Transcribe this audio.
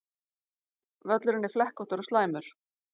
Völlurinn flekkóttur og slæmur